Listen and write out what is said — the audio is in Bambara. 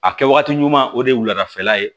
A kɛ waati ɲuman o de ye wuladafɛla ye